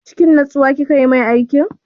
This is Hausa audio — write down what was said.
Cikin natsuwa kika yi mai aikin?